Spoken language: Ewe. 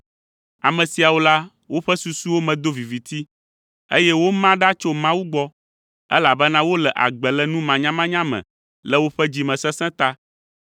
Ame siawo la, woƒe susuwo me do viviti, eye woma ɖa tso Mawu gbɔ, elabena wole agbe le numanyamanya me le woƒe dzimesesẽ ta.